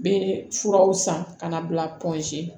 Bɛ furaw san ka na bila